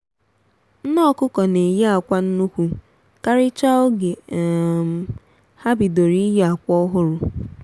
nne ọkụkọ na-eyi akwa nnukwu karịchaa oge um ha bidoro iyi akwa ọhụrụ